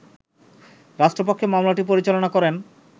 রাষ্ট্রপক্ষে মামলাটি পরিচালনা করেন